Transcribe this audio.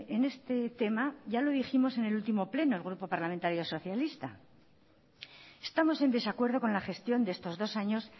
en este tema ya lo dijimos en el último pleno el grupo parlamentario socialista estamos en desacuerdo con la gestión de estos dos años